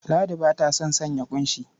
Ladi ba ta son sanya ƙunshi.